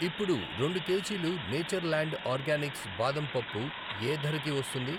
ఇప్పుడు రెండు కేజీలు నేచర్ ల్యాండ్ ఆర్గానిక్స్ బాదం పప్పు యే ధరకి వస్తుంది?